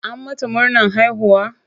An mata murnan haihuwa?